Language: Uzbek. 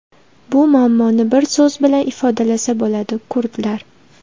Bu muammoni bir so‘z bilan ifodalasa bo‘ladi – kurdlar .